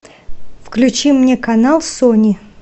включи мне канал сони